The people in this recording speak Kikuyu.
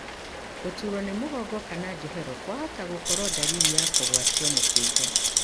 Gũturwo nĩ mũgongo kana njohero kwahota gũkorwo ndariri ya kũgwatio mũkingo.